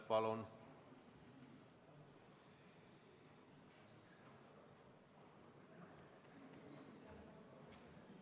Palun!